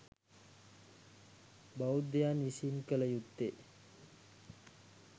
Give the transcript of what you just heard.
බෞද්ධයන් විසින් කළ යුත්තේ